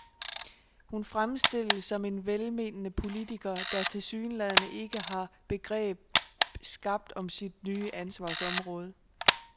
Hun fremstilles som en velmenende politiker, der tilsyneladende ikke har begreb skabt om sit nye ansvarsområde.